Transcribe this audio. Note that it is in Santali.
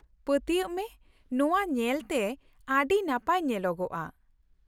ᱯᱟᱹᱛᱭᱟᱹᱜ ᱢᱮ ᱱᱚᱶᱟ ᱧᱮᱞᱛᱮ ᱟᱹᱰᱤ ᱱᱟᱯᱟᱭ ᱧᱮᱞᱚᱜᱼᱟ ᱾